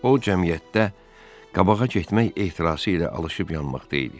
O cəmiyyətdə qabağa getmək ehtirası ilə alışıb-yanmaqda idi.